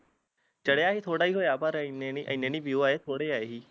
ਚੜਿਆ ਵੀ ਥੋੜਾ ਈ ਹੋਇਆ ਪਰ ਇਨੇ ਏਨੇ ਨੀ view ਆਏ ਸੀ